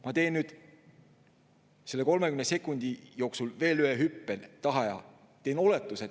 Ma teen nüüd selle 30 sekundi jooksul veel ühe hüppe tagasi ja teen ühe oletuse.